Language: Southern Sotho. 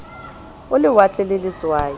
a lewatle a le letswai